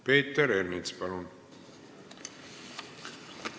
Peeter Ernits, palun!